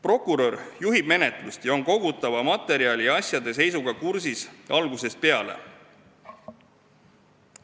Prokurör juhib menetlust ning on kogutava materjali ja asjade seisuga algusest peale kursis.